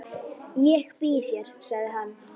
Ég býð þér, sagði hann.